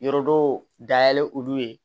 Yɔrɔ dɔw dayɛlɛ olu ye